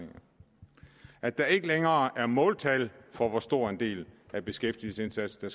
at der ikke længere er måltal for hvor stor en del af beskæftigelsesindsatsen